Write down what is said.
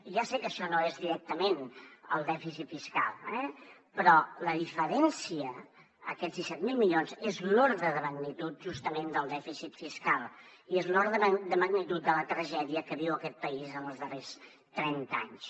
ja sé que això no és directament el dèficit fiscal eh però la diferència aquests disset mil milions és l’ordre de magnitud justament del dèficit fiscal i és l’ordre de magnitud de la tragèdia que viu aquest país en els darrers trenta anys